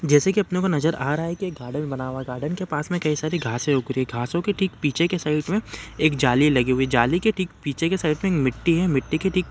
जैसे की अपने को नजर आ रहा है की एक गार्डन बना है गार्डन के पास मे कई सारी घासे उग रही है घासो के ठीक पीछे की साइड मे एक जाली लगी हुई है जाली के ठीक पीछे की साइड मे मिट्टी है मिट्टी के ठीक --